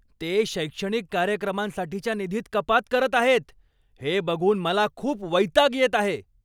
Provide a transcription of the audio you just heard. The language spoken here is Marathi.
ते शैक्षणिक कार्यक्रमांसाठीच्या निधीत कपात करत आहेत हे बघून मला खूप वैताग येत आहे.